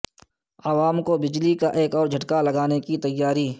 عوام کو بجلی کا ایک اور جھٹکا لگانے کی تیاری